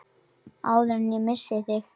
Áður en ég missi þig.